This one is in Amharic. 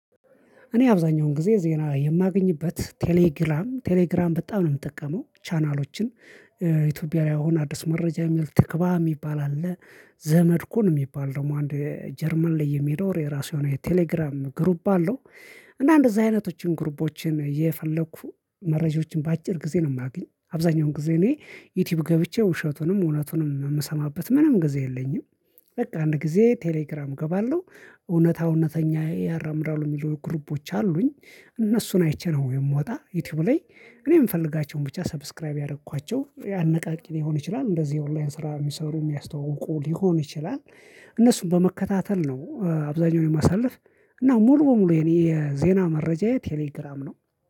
እኔ አብዛኛውን ጊዜ ዜና የማገኝበት ቴሌግራም ቴሌግራም በጣም ነው የምጠቀመው ቻናሎችን። ኢትዮጵያውያን አዲስ መረጃ የሚል ትክባ የሚባል አለ። ዘመድኩን የሚባል ደግሞ አንድ ጀርመን ላይ የሚኖር የራሱ የሆነ የቴሌግራም ግሩፕ አለው። እና እንደዚህ አይነቶችን ግሩፖችን እየፈለኩ መረጃዎችን በአጭር ጊዜ ነው። የማገኝ አብዛኛውን ጊዜ እኔ ዩቲዩብ ገብቼ ውሸቱንም እውነቱንም የምሰማበት ምንም ጊዜ የለኝም። በቃ አንድ ጊዜ ቴሌግራም እገባለሁ። እውነታው እውነተኛ ያራምዳሉ የሚሉ ግሩፖች አሉኝ። እነሱን አይቼ ነው የምወጣ ዩቲዩብ ላይ። እኔ የምፈልጋቸውን ብቻ ሰብስክራይብ ያደረኳቸው አነቃቂ ሊሆን ይችላል። እንደዚህ የኦንላይን ስራ የሚሰሩ የሚያስተውቁ ሊሆን ይችላል። እነሱን በመከታተል ነው አብዛኛውን የማሳልፍ። እና ሙሉ በሙሉ የኔ የዜና መረጃየ ቴሌግራም ነው